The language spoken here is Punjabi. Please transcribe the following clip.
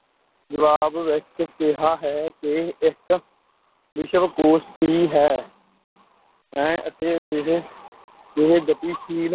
ਜਵਾਬ ਵਿੱਚ ਕਿਹਾ ਹੈ ਕਿ ਇੱਕ ਵਿਸ਼ਵ ਕੋਸ਼ ਕੀ ਹੈ ਹੈ ਅਤੇ ਅਜਿਹੇ ਅਜਿਹੇ ਗਤੀਸ਼ੀਲ